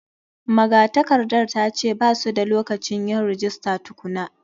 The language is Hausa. Magatakardar ta ce ba su da lokacin yin rajista tukuna.